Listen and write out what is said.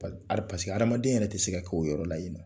Pa paseke adamaden yɛrɛ tɛ se ka kɛ o yɔrɔ la ye nɔ.